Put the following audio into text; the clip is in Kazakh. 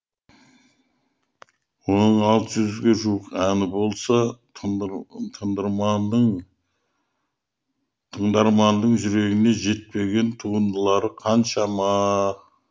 оның алты жүзге жуық әні болса тыңдарманның жүрегіне жетпеген туындылары қаншама